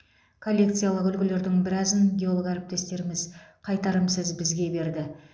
коллекциялық үлгілердің біразын геолог әріптестеріміз қайтарымсыз бізге берді